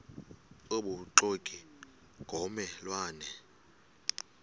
obubuxoki ngomme lwane